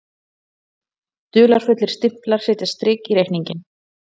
Dularfullir stimplar setja strik í reikninginn